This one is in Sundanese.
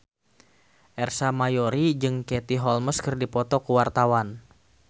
Ersa Mayori jeung Katie Holmes keur dipoto ku wartawan